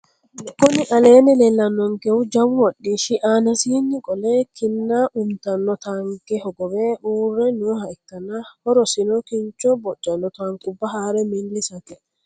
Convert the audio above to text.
Kuni aleeni leelaninonikehu jawu hodhishshi anasinino qole kinna umitano taanike hogowe uure nooha ikana horosini kinnicho bocano taanikuba haare milisate